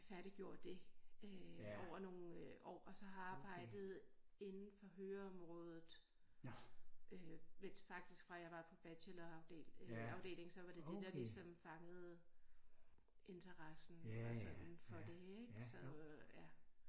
Færdiggjort det øh over nogle øh år og så har jeg arbejdet inden for høreområdet øh mens faktisk fra jeg var på bachelor afdeling så var det det der ligesom fangede interessen og sådan for det ik så øh ja